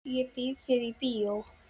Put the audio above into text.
Ég býð þér í bíó.